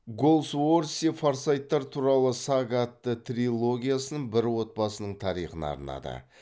голсуорси форсайттар туралы сага атты трилогиясын бір отбасының тарихына арнады